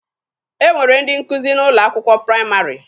E nwere ndị nkụzi n'ụlọ akwụkwọ praịmarị.